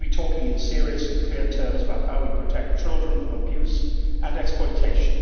We need to be talking in serious and clear terms about how we protect children from abuse and exploitation